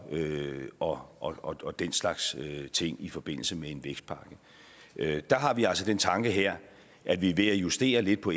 og og den slags ting i forbindelse med en vækstpakke der har vi altså den tanke her at vi ved at justere lidt på